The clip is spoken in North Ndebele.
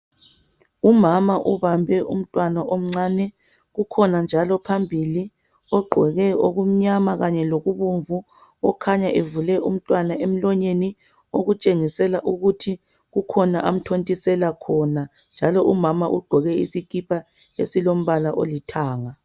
Umama ubambe umtwana omcane. Kukhona njalo phambili ogqoke okumnyama Kanye loku bomvu. Okhanya evule umtwana emlonyeni. Okutshengisela ukuthi kukhona amthontisela khona. Njalo umama ugqoke isikipa esilombala olithanga.